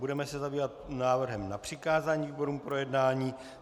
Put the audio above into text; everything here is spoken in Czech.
Budeme se zabývat návrhem na přikázání výborům k projednání.